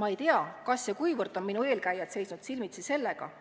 Ma ei tea, kas ja kuivõrd on minu eelkäijad seisnud silmitsi sellega – ma